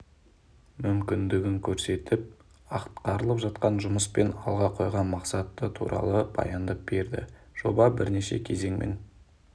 мүмкіндігін көрсетіп атқарылып жатқан жұмыс пен алға қойған мақсат туралы баяндап берді жоба бірнеше кезеңмен